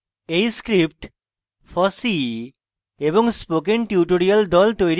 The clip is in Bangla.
এই script fossee এবং spoken tutorial the তৈরী করেছে